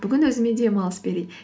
бүгін өзіме демалыс берейін